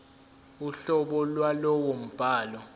uhlobo lwalowo mbhalo